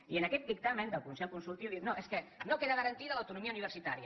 i en aquest dictamen del consell consultiu es diu no és que no queda garantida l’autonomia universitària